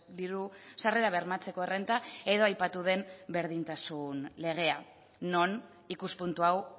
diru sarrerak bermatzeko errenta edo aipatu den berdintasun legea non ikuspuntu hau